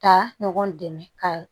Ka ɲɔgɔn dɛmɛ ka